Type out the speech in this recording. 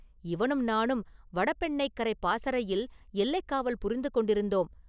இவனும் நானும் வடபெண்ணைக்கரைப் பாசறையில் எல்லைக் காவல் புரிந்து கொண்டிருந்தோம்.